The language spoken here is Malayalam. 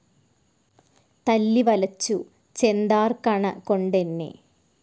തല്ലി വലച്ചു ചെന്താർകണ കൊണ്ടെന്നെ